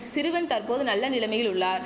சிறுவன் தற்போது நல்ல நிலமையில் உள்ளார்